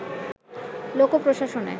লোক প্রশাসনে